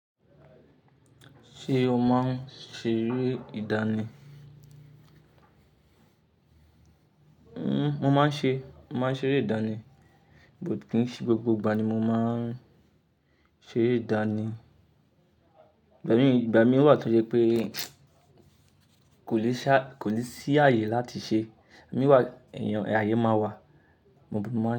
Ṣé o máa ń ṣeré ìdánì? Mo máa ń ṣe, mo máa ń ṣeré ìdánì, but ki ń ṣe gbogbo ìgbà ni mo máa ń ṣeré ìdánì. Ìgbà mii, ìgbà mí wà tó jẹ pé kò lè sá-- kò lè sí ààyè láti ṣe, imi wà, èèyàn, ààyè máa wà, mo, mo máa ń ṣe.